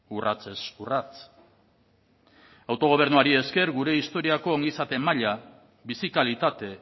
urratsez urrats autogobernuari esker gure historiako ongizate maila bizi kalitate